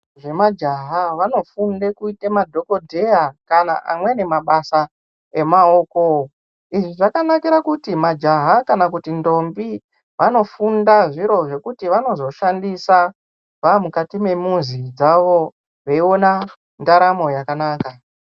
Nemajaha vanofunde kuite madhogodheya kana amweni mabasa emaoko. Izvi zvakanakira kuti majaha kana kuti ndombi vanofunda zviro zvekuti vanozoshandisa vamukati memuzi dzavo veiona ndaramo yakanaka.